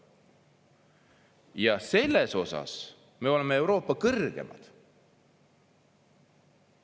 Ja selles osas me oleme Euroopa kõrgemad.